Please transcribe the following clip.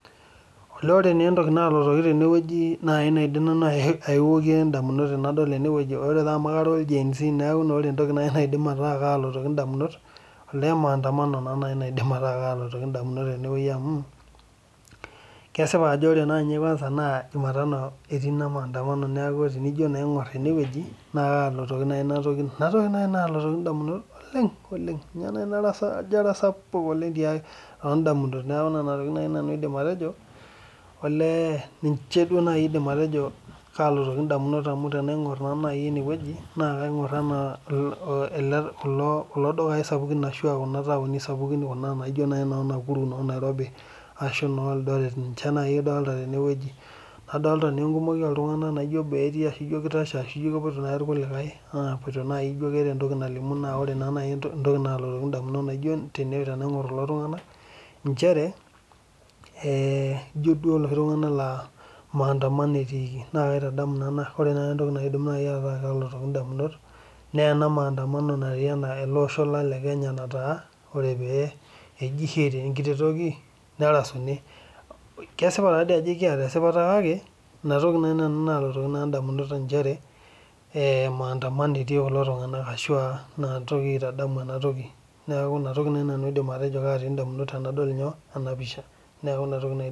Ore taa entoki nalotu ndamunot tenadol ena toki ore taa amu karra olgenz naa maandamano naidim ataaa kalotoki ndamunot amu kesipa ajo ore naa ninye naa jumatano etii ina maandamano niaku tenijo aingor ene wueji naa kaalotoki naaji ina toki ndamunot oleng amu njoo etasapuuka oleng too ndamunot niaku nena tokitin naaji aidim atejo olee tena ingorr naaji ene wueji aah kulo dukai sapukin ashu kuna taoni sapukin naijo naaji noo Nakuru ashu noo Nairobi ashu noo Eldoret ninche naaji idol tenewueji adolita naa enkumoi ooh ltunganak ajo kikumok oleng ashu keitashe rkulie nepoito rkulie ore entoki nalotu ndamunot tenadol kulo tunganak ee ijo duo loshi tunganak laa maandamano etiki naa kaitadamu ore naa entoki naajing ndamunot naa ena mandamano naatae tele osho lang le kenya nataa ore pee eji hee te nkiti toki nerasuni kesipa taadoi ajo ekiata esipata kake ina toki naaji nalotoki nanu ndamunot nchere ee maandamano etii kulo tunganak aah ina toki aitadamu ena toki niaku ina toki naaji nanu aidim atejo naati ndamunot tenadol ena pisha